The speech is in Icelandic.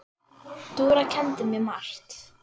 Dúra kenndi mér margt.